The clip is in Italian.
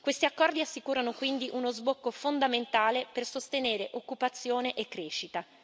Questi accordi assicurano quindi uno sbocco fondamentale per sostenere occupazione e crescita.